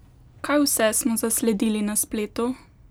Kaj vse smo zasledili na spletu?